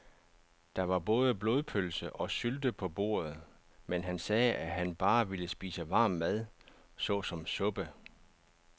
Der var både blodpølse og sylte på bordet, men han sagde, at han bare ville spise varm mad såsom suppe.